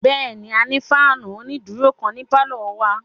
Bẹ́ẹ̀ni, a ní fáànù onídúró kan ní pálọ̀ wa